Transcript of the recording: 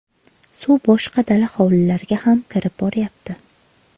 Suv boshqa dala hovlilarga ham kirib boryapti”.